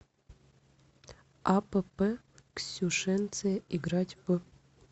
апп ксюшенция играть в